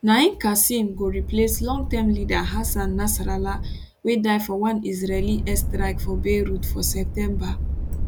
naim qassem go replace longterm leader hassan nasrallah wey die for one israeli air strike for beirut for september